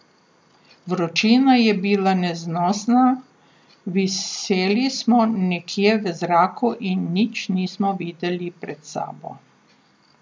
Vročina je bila neznosna, viseli smo nekje v zraku in nič nismo videli pred sabo.